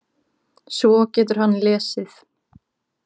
Svo getur hann lesið.